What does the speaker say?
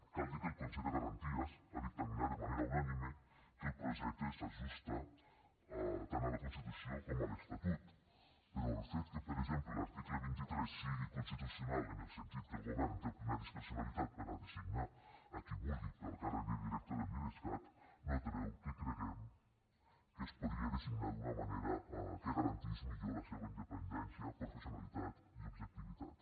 cal dir que el consell de garanties ha dictaminat de manera unànime que el projecte s’ajusta tant a la constitució com a l’estatut però el fet que per exemple l’article vint tres sigui constitucional en el sentit que el govern té plena discrecionalitat per a designar a qui vulgui per al càrrec de director de l’idescat no treu que creguem que es podria designar d’una manera que garantís millor la seva independència professionalitat i objectivitat